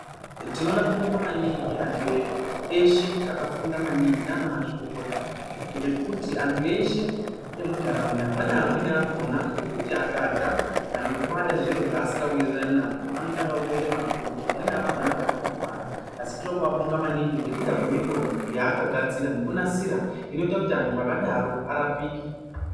Tinoda kubonga maningi antu eshe akafunda maningi nana mazvikokota ngekuti antu eshe emundaraunda pane amweni akona ekuti akarya kana kubata zviro zvaanenge asikawirirani nazvo anotanga kutoita mapundu , amweni akona anotanga kutorwara asi tinoda kuabonga maningi ngekuda kwemutombo waakagadzira nekunasira inoita kuti antu akadaro arapike .